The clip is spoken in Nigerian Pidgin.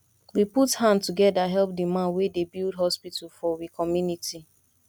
we put hand together help di man wey dey build hospital for we community